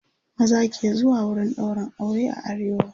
maza ke zuwa wurin ɗaurin aure a arewa